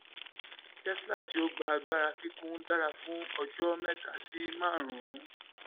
tesla tí ó gba agbára kíkún dára fún ọjọ́ mẹ́ta sí márùn-ún.